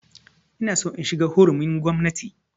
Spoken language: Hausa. Ina so in shiga hurumin gwamnati